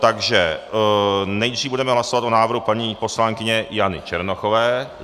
Takže nejdříve budeme hlasovat o návrhu paní poslankyně Jany Černochové.